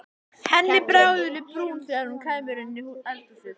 Henni bregður í brún þegar hún kemur inn í eldhúsið.